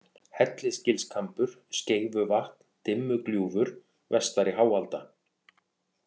Hellisgilskambur, Skeifuvatn, Dimmugljúfur, Vestari-Háalda